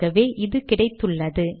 ஆகவே இது கிடைத்துள்ளது